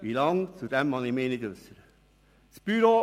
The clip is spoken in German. Zur Zeitdauer mag ich mich nicht äussern.